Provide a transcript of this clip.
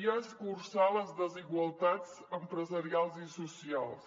i a escurçar les desigualtats empresarials i socials